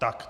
Tak.